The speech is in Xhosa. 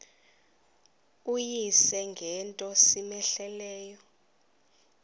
uyise ngento cmehleleyo